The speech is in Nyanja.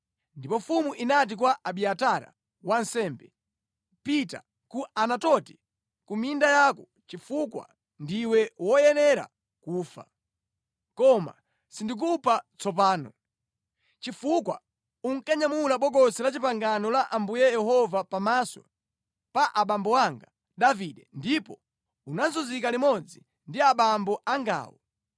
Ndipo mfumu inati kwa Abiatara wansembe, “Pita ku Anatoti ku minda yako chifukwa ndiwe woyenera kufa, koma sindikupha tsopano, chifukwa unkanyamula Bokosi la Chipangano la Ambuye Yehova pamaso pa abambo anga Davide ndipo unazunzika limodzi ndi abambo angawo.”